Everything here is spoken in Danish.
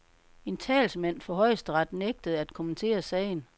En talsmand for højesteret nægtede at kommentere sagen.